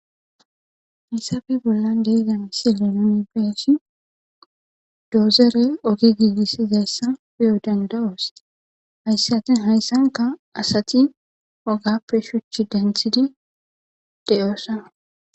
Hayssafe bolla deizan si lenone beeshi doozere ogi giigissizayssa piyo danda7oos hayssatin hayssanka asati ogappe shuch denthidi de'oosaa.